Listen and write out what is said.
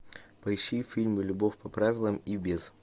поищи фильм любовь по правилам и без